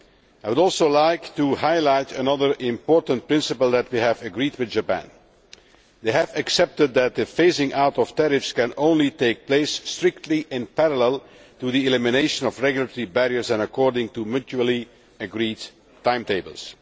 I would also like to highlight another important principle that we have agreed with Japan we have accepted that the phasing out of tariffs can only take place strictly in parallel with the elimination of regulatory barriers and according to mutually agreed timetables.